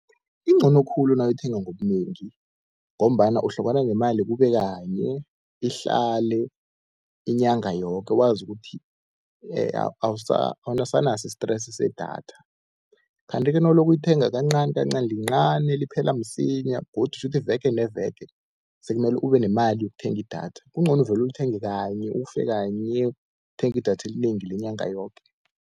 Incono khulu nawuyithenga ngobunengi, ngombana uhlukana nemali kube kanye ihlale inyanga yoke wazi ukuthi awusenaso i-stress sedatha. Kanti ke nawuloko uyithenga kancanikancani lincani liphela msinya, godu shuthi veke neveke sekumele ube nemali yokuthenga idatha. Kuncono uvele ulithenge kanye, ufe kanye uthenge idatha elinengi lenyanga yoke.